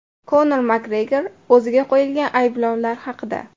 Konor Makgregor o‘ziga qo‘yilgan ayblovlar haqida.